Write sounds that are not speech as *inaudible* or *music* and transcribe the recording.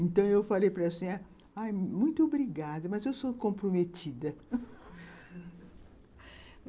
Então, eu falei para a, *unintelligible* muito obrigada, mas eu sou comprometida. *laughs*